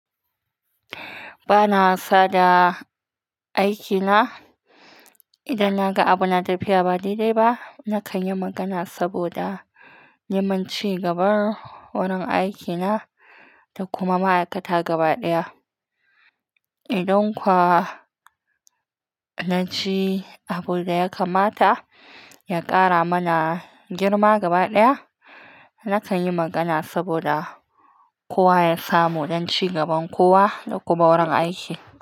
Ba na wasa da aikina. Idan na ga abu na tafiya ba daidai ba, na kan yi magana saboda neman cigaba wurin aiki na da kuma ma'aikata gaba ɗaya. Idan kuwa na ji abin da ya kamata ya ƙara mana girma gaba ɗaya, na kan yi magana saboda kowa ya samu don cigaban kowa da kuma wurin aiki.